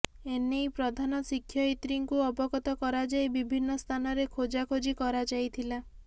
ଏନେଇ ପ୍ରଧାନଶିକ୍ଷୟିତ୍ରୀଙ୍କୁ ଅବଗତ କରାଯାଇ ବିଭିନ୍ନ ସ୍ଥାନରେ ଖୋଜାଖୋଜି କରାଯାଇଥିଲା